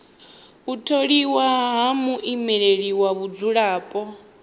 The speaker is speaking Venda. u tholiwa ha muimeleli wa vhadzulapo